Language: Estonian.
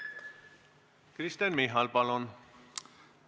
Kristen Michal, palun!